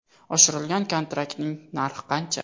Oshirilgan kontraktning narxi qancha?